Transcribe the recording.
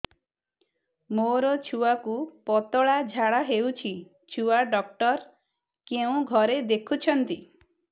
ମୋର ଛୁଆକୁ ପତଳା ଝାଡ଼ା ହେଉଛି ଛୁଆ ଡକ୍ଟର କେଉଁ ଘରେ ଦେଖୁଛନ୍ତି